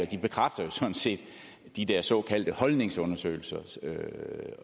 de bekræfter sådan set de der såkaldte holdningsundersøgelser